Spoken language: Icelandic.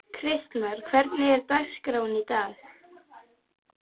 Kristmar, hvernig er dagskráin í dag?